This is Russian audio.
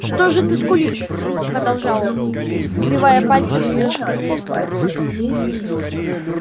что же ты скулишь продолжал он сбивая пальцем с её спины снег